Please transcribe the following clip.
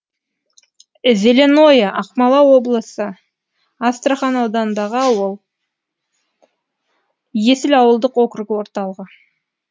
зеленое ақмола облысы астрахан ауданындағы ауыл есіл ауылдық округі орталығы